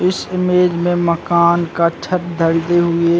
इस इमेज में मकान का छत ढलते हुए --